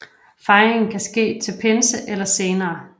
Fejringen kan ske til pinsen eller senere